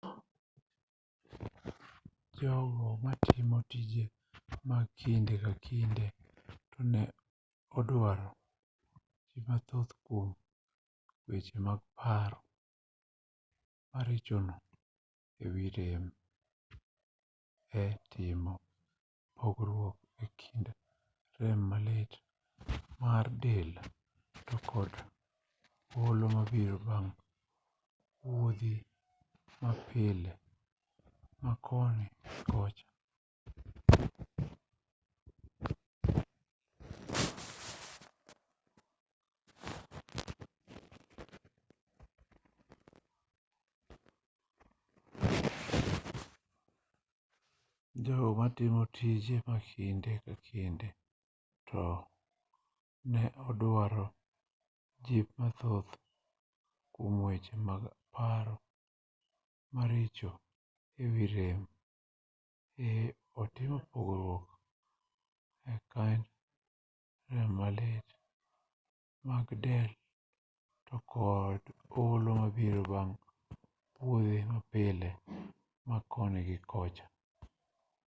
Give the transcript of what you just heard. jogo matimo tije ma kinde ka kinde to ne oduaro jip mathoth kuom weche mag paro maricho e wi rem e timo pogruok e kind rem malit mar del to kod olo mabiro bang' wuodhi mapile ma koni gi kocha